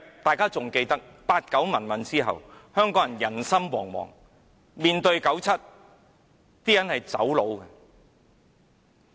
大家還記得在八九民運後，香港人心惶惶，面對九七，香港人選擇移民。